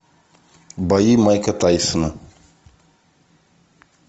бои майка тайсона